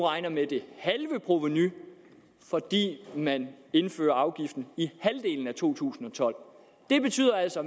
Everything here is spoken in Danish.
med det halve provenu fordi man indfører afgiften i halvdelen af to tusind og tolv det betyder altså